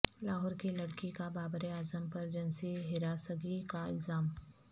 لاہور کی لڑکی کا بابراعظم پر جنسی ہراسگی کا الزام